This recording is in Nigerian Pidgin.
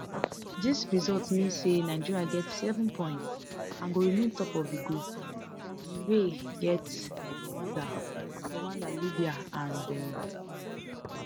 dis result mean say nigeria get seven points and go remain top of group d wey get rwanda rwanda libya and benin